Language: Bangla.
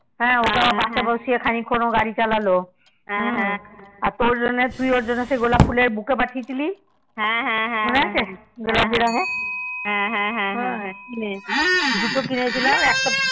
হ্যাঁ ওকে আবার পশে বসিয়ে ও খানিক খান ও গাড়ি চলালো আর তুই ওর জন্যে গোলাপ ফুলের বুকা পাঠিয়েছিলি মনে আছে গোলাপি রঙের দুটো কিনেছিলাম